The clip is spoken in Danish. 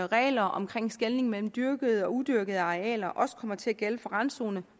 regler om skelnen mellem dyrkede og udyrkede arealer også kommer til at gælde for randzonerne